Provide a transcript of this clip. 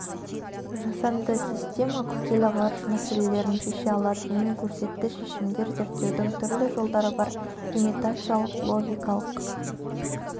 жасанды система күрделі ғарыш мәселелерін шеше алатынын көрсетті шешімдер зерттеудің түрлі жолдары бар имитациялық логикалық